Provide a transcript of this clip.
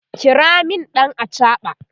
kira min ɗan achaɓa!